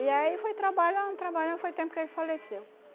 E aí foi trabalhando, trabalhando, foi tempo que ele faleceu.